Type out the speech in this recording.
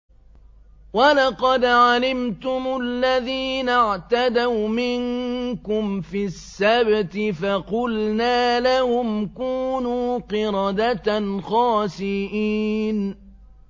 وَلَقَدْ عَلِمْتُمُ الَّذِينَ اعْتَدَوْا مِنكُمْ فِي السَّبْتِ فَقُلْنَا لَهُمْ كُونُوا قِرَدَةً خَاسِئِينَ